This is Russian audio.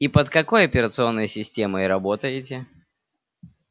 и под какой операционной системой работаете